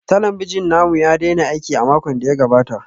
Talabijin namu ya daina aiki a makon da ya gabata